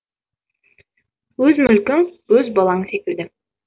өз мүлкің өз балаң секілді